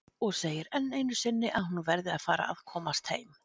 Og segir enn einu sinni að hún verði að fara að komast heim.